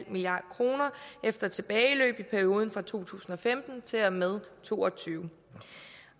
milliard kroner efter tilbageløb i perioden fra to tusind og femten til og med to og to og tyve